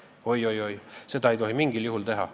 Oi-oi-oi, seda ei tohi mingil juhul teha.